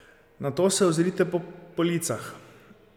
Nato se ozrite po policah.